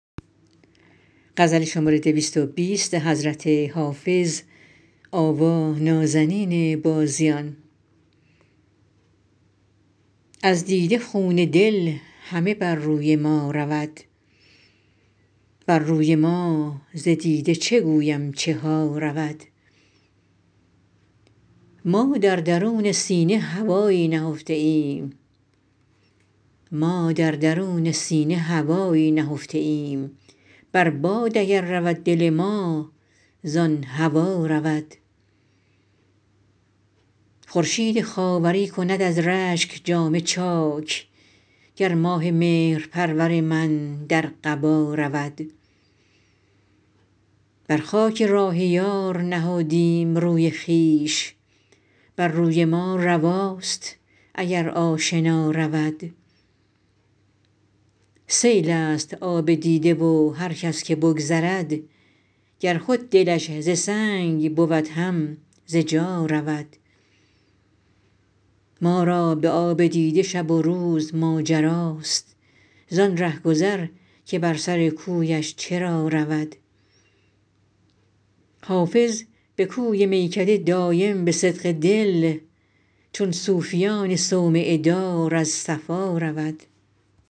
از دیده خون دل همه بر روی ما رود بر روی ما ز دیده چه گویم چه ها رود ما در درون سینه هوایی نهفته ایم بر باد اگر رود دل ما زان هوا رود خورشید خاوری کند از رشک جامه چاک گر ماه مهرپرور من در قبا رود بر خاک راه یار نهادیم روی خویش بر روی ما رواست اگر آشنا رود سیل است آب دیده و هر کس که بگذرد گر خود دلش ز سنگ بود هم ز جا رود ما را به آب دیده شب و روز ماجراست زان رهگذر که بر سر کویش چرا رود حافظ به کوی میکده دایم به صدق دل چون صوفیان صومعه دار از صفا رود